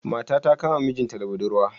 Mata ta Kama mijinta da buɗurwa.